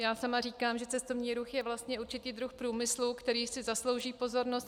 Já sama říkám, že cestovní ruch je vlastně určitý druh průmyslu, který si zaslouží pozornost.